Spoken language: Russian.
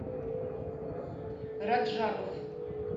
раджабов